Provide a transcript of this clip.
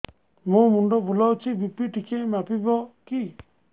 ମୋ ମୁଣ୍ଡ ବୁଲାଉଛି ବି.ପି ଟିକିଏ ମାପିବ କି